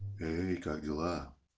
эй как дела